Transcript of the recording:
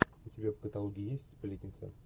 у тебя в каталоге есть сплетница